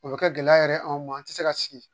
O bɛ kɛ gɛlɛya yɛrɛ anw ma an tɛ se ka sigi